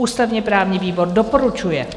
Ústavně-právní výbor doporučuje.